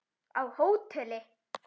Á hóteli?